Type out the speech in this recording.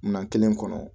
Minan kelen kɔnɔ